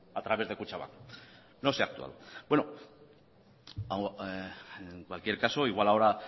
a través de kutxabank no se ha actuado en cualquier caso igual ahora